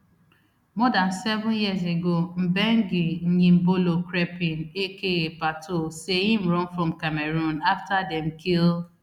more dan seven years ago mbengue nyimbilo crepin aka pato say im run from cameroon afta dem kill